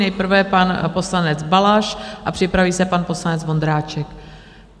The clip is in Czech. Nejprve pan poslanec Balaš a připraví se pan poslanec Vondráček.